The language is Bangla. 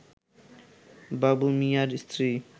বাবু মিয়ার স্ত্রী